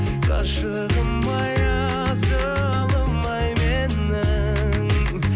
ғашығым ай асылым ай менің